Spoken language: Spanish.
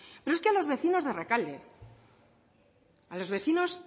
pero es que a los vecinos de rekalde a los vecinos